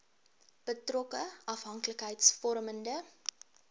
betrokke afhanklikheids vormende